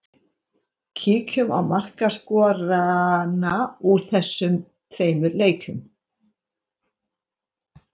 Kíkjum á markaskorarana úr þessum tveimur leikjum.